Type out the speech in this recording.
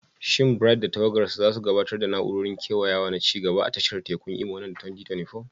Shin Bright da tawagarsa za su gabatar da na'urorin kewayawa na ci gaba a tashar tekun Imo nan da 2024?